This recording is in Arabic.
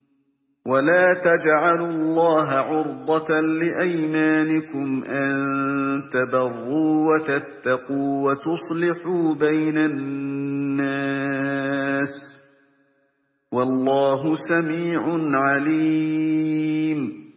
وَلَا تَجْعَلُوا اللَّهَ عُرْضَةً لِّأَيْمَانِكُمْ أَن تَبَرُّوا وَتَتَّقُوا وَتُصْلِحُوا بَيْنَ النَّاسِ ۗ وَاللَّهُ سَمِيعٌ عَلِيمٌ